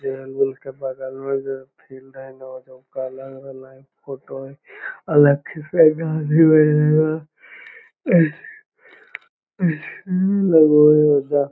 बगल मे जो फील्ड है ना कलर वाला एक फोटो हेय अ लखीसराय के --